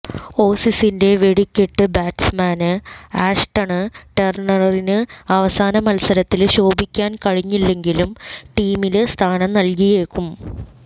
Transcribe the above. ഓസീസിന്റെ വെടിക്കെട്ട് batsman Ashton ടെര്ണറിന് അവസാന മത്സരത്തില് ശോഭിക്കാന് കഴിഞ്ഞില്ലെങ്കിലും ടീമില് സ്ഥാനം നല്കിയേക്കും